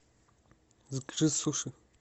закажи суши